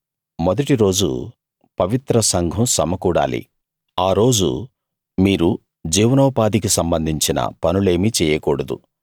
మొదటి రోజు పవిత్ర సంఘం సమకూడాలి ఆ రోజు మీరు జీవనోపాధికి సంబంధించిన పనులేమీ చెయ్యకూడదు